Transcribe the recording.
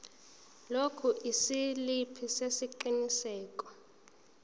lokhu isiliphi sesiqinisekiso